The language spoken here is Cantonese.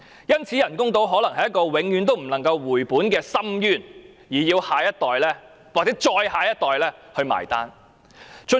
因此，人工島可能是一個永遠不能回本的深淵，要下一代甚至再下一代結帳。